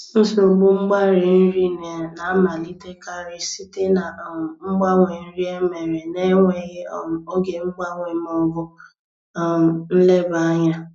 Nsogbu mgbari nri na-amalitekarị site na um mgbanwe nri emere na-enweghị um oge mgbanwe ma ọ bụ um nleba anya